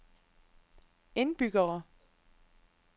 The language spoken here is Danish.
indbyggere